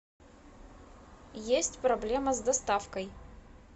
есть проблема с доставкой